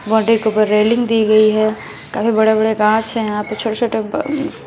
बड़ी रेलिंग दी गई है काफी बड़े बड़े कांच हैं यहां पे छोटे छोटे--